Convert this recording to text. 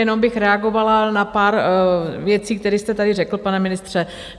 Jenom bych reagovala na pár věcí, které jste tady řekl, pane ministře.